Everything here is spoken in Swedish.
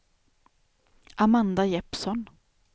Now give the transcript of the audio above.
Amanda Jeppsson